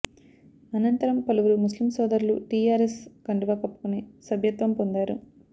అనంతరం పలువురు ముస్లిం సోదరులు టిఆర్ఎస్ కండువా కప్పుకొని సభ్యత్వం పొందారు